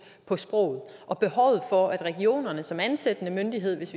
på sproget og behovet for at regionerne som ansættende myndighed hvis